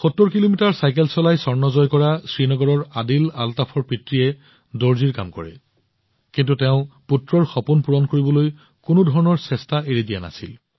৭০ kilometre cycle চলাই স্বৰ্ণ জয় কৰা শ্ৰীনগৰৰ আদিল আলতাফৰ পিতৃয়ে দৰ্জীৰ কাম কৰে কিন্তু তেওঁ পুত্ৰৰ সপোন পূৰণ কৰিবলৈ কোনো ধৰণৰ চেষ্টাৰ ক্ৰুটি কৰা নাছিল